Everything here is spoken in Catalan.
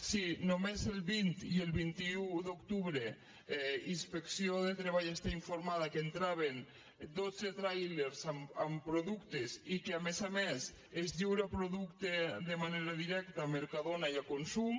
sí només el vint i el vint un d’octubre inspecció de treball està informada que entraven dotze tràilers amb productes i que a més a més es lliura producte de manera directa a mercadona i a consum